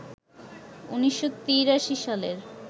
১৯৮৩ সালের